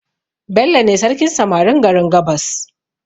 Bello ne sarkin samarin garin gabas